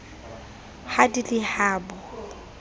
ha di le ha bo